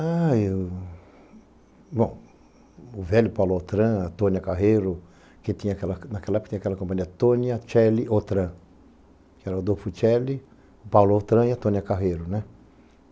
Ah, eu... Bom, o velho Paulo Autran, a Tônia Carreiro, que naquela época tinha aquela companhia Tônia, Tchely, Autran, que era o Adolfo Tchely, o Paulo Autran e a Tônia Carreiro, né?